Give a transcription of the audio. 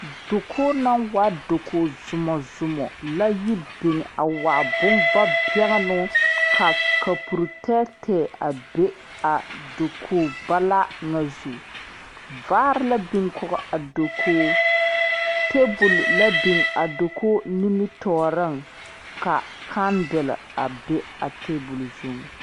Dakogi naŋ waa dakogi zomɔ zomɔ la yi biŋ a waa bonvabɛnnoo ka kapuri tɛɛtɛɛ a be a dakogi balaa ŋa zu vaare la biŋ kɔge a dakogi tabol la biŋ a dakogi nimitɔɔreŋ ka kandele a be a tabol zuŋ.